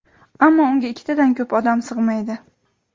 ammo unga ikkitadan ko‘p odam sig‘maydi.